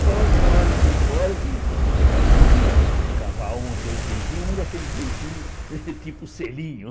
Só na hora que ia embora que a gente conseguia cavar um ou dois beijinhos, mas aqueles beijinhos tipo selinho.